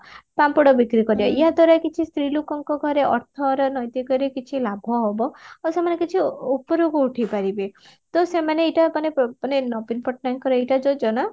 ପାମ୍ପଡ ବିକ୍ରି କରିବା ୟା ଦ୍ଵାରା କିଛି ସ୍ତ୍ରୀ ଲୋକଙ୍କ ଘରେ ଅର୍ଥର ନୈତିକରେ କିଛି ଲାଭ ହବ ଆଉ ସେମାନେ କିଛି ଉ ଉପରକୁ ଉଠିପାରିବେ ତ ସେମାନ ଏଇଟା ମାନେ ମାନେ ନବୀନ ପଟ୍ଟନାୟକଙ୍କର ଏଇଟା ଯୋଜନା